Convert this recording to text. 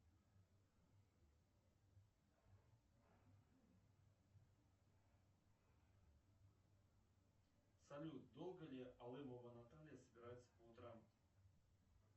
салют долго ли алымова наталья собирается по утрам